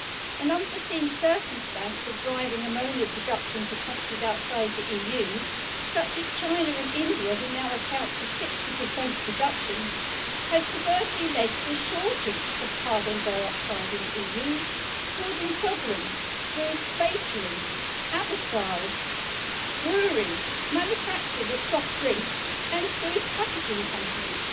An unforeseen circumstance of driving ammonia production to countries outside the EU, such as China and India, which now account for 60 of production, has perversely led to a shortage of carbon dioxide in the EU, causing problems for bakeries, abattoirs, breweries, manufacturers of soft drinks and food packaging companies.